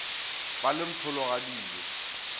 ba le mpholo ga dijo